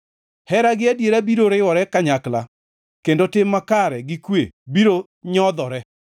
Hera gi adiera biro riwore kanyakla, kendo tim makare gi kwe biro nyodhore.